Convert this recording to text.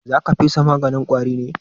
Za ka fesa maganin ƙwari ne?